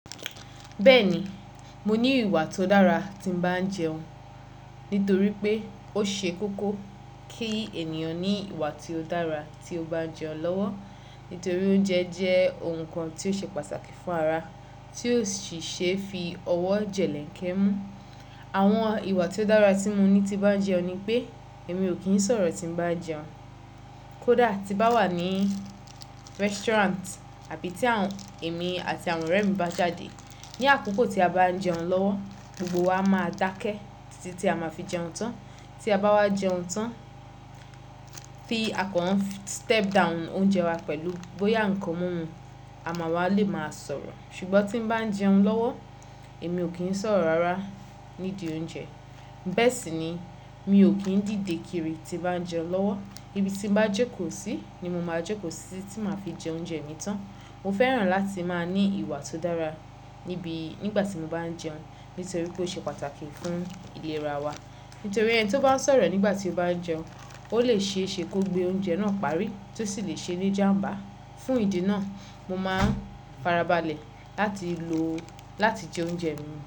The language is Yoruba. Bẹ́ẹ̀ ni, mo ní ìwà tó dára tí ń bá jẹun, nítorí pé ó ṣe kókó kí ènìyàn ní ìwà tí ó dára tí ó bá ń jẹun lọ́wọ́. Nítorí oúnjẹ jẹ́ ohun kan tí ó ṣe pàtàkì fún ara, tí ó sì ṣe fi ọwọ́ jẹlẹ̀nkẹ́ mú. Àwọn ìwà tí ó dára tí mo ní tí bá ń jẹun ni pé èmi ò kì í sọ̀rọ̀ tí ń bá jẹun, kó dà tí bá wà ní restaurant àbí tí àwọn èmi àti àwọn ọ̀rẹ́ mi bá jáde. Ni àkókò tí a bá ń jẹun lọ́wọ́, gbogbo wa máa dákẹ́ títí tí a máa fi jẹun tán. Ti a bá wá jẹun tán, fi a kan n step down oúnjẹ wa pẹ̀lú bóyá nǹkan mímu, àma wa lè máa sọ̀rọ̀. Ṣùgbọ́n tí ń bá ń jẹun lọ́wọ́, èmi ò kí ń sọ̀rọ̀ rárá nídìí oúnjẹ. Bẹ́ẹ̀ sì ni, mi ò kì í dìde kiri tí bá ń jẹun lọ́wọ́. Ibi tí mo bá jẹ kò sí ni mo máa jẹ kò sí tí màá fi jẹ oúnjẹ mi tán. Mo fẹ́ràn láti máa ní ìwà tó dára níbi nígbà tí mo bá ń jẹun, nítorí pé ó ṣe pàtàkì fún ìlera wa. Nítorí ẹni tí ó bá ń sọ̀rọ̀ nígbà tí ó bá ń jẹun, ó lè ṣe é ṣe kó gbé oúnjẹ náà parí, tó sì lè ṣe ní jàmbá. Fún ìdí náà, mo máa farabalẹ̀ láti lo láti jẹ oúnjẹ mi.